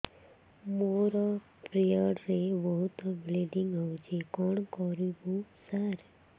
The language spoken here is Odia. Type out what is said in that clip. ମୋର ପିରିଅଡ଼ ରେ ବହୁତ ବ୍ଲିଡ଼ିଙ୍ଗ ହଉଚି କଣ କରିବୁ ସାର